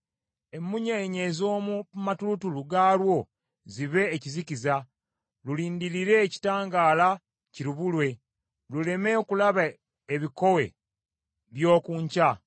Emmunyeenye ez’omu matulutulu gaalwo zibe ekizikiza, lulindirire ekitangaala kirubulwe, luleme okulaba ebikowe by’oku nkya.